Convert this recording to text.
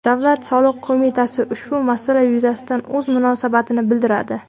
Davlat soliq qo‘mitasi ushbu masala yuzasidan o‘z munosabatini bildiradi .